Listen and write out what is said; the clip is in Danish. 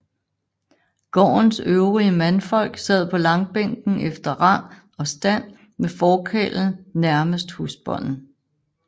Gårdens øvrige mandfolk sad på langbænken efter rang og stand med forkarlen nærmest husbonden